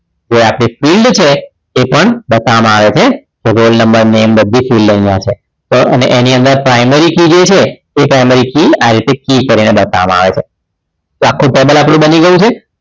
જે આપણી field છે એ પણ બતાવવામાં આવે છે તો roll number બધી જ field અહીંયા છે તો હવે એની અંદર primary key જે છે તો એ primary key આ રીતે key કરીને બતાવવામાં આવે છે તો આખું table આપણું બની ગયું છે